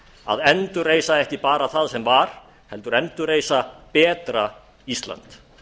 að endurreisa ekki bara það sem var heldur endurreisa betra ísland